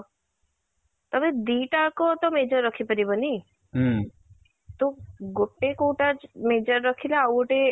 ତମେ ଦି ଟା ଯାକ ତ major ରଖି ପାରିବନି ତ ଗୋଟେ କୋଉଟା major ରଖିଲ ଆଉ ଗୋଟେ